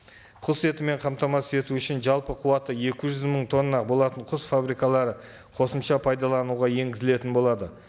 құс етімен қамтамасыз ету үшін жалпы қуаты екі жүз мың тонна болатын құс фабрикалары қосымша пайдалануға енгізілетін болады